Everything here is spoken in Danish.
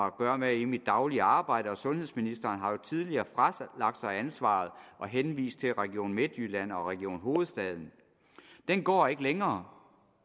at gøre med i mit daglige arbejde og sundhedsministeren har jo tidligere fralagt sig ansvaret og henvist til region midtjylland og region hovedstaden den går ikke længere